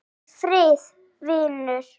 Farðu í friði vinur.